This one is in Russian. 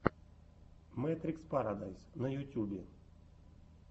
мэтрикс парадайс на ютьюбе